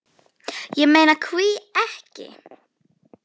Ég meina hví ekki?